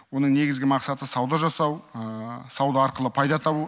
оның негізгі мақсаты сауда жасау сауда арқылы пайда табу